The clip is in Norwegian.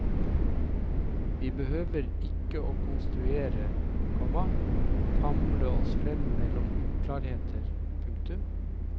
Vi behøver ikke å rekonstruere, komma famle oss frem mellom uklarheter. punktum